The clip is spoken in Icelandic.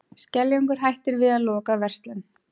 Skeljungur hættir við að loka verslun